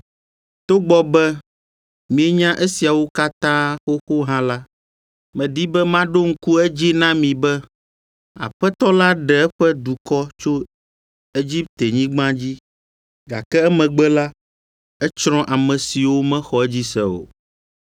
Togbɔ be mienya esiawo katã xoxo hã la, medi be maɖo ŋku edzi na mi be Aƒetɔ la ɖe eƒe dukɔ tso Egiptenyigba dzi, gake emegbe la, etsrɔ̃ ame siwo mexɔ edzi se o.